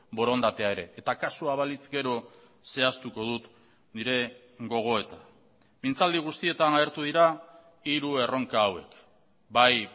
borondatea ere eta kasua balitz gero zehaztuko dut nire gogoeta mintzaldi guztietan agertu dira hiru erronka hauek bai